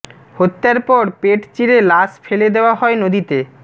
হত্যার পর পেট চিরে লাশ ফেলে দেওয়া হয় নদীতে